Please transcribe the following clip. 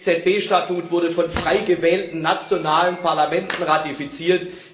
Das EZB Statut wurde von frei gewählten nationalen Parlamenten ratifiziert.